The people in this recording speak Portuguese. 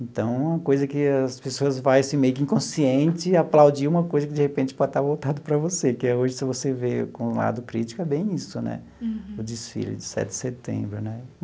Então, é uma coisa que as pessoas vai assim meio que inconsciente, aplaudir uma coisa que, de repente, pode estar voltada para você, que hoje, se você vê com o lado crítico, é bem isso né, o desfile de sete de setembro né.